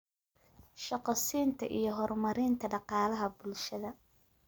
shaqo siinta iyo horumarinta dhaqaalaha bulshada.